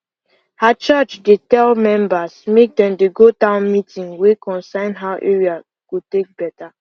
her church dey tell members make dem dey go town meeting wey concern how area go take better